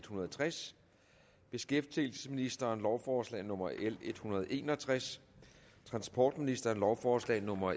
hundrede og tres beskæftigelsesministeren lovforslag nummer l en hundrede og en og tres transportministeren lovforslag nummer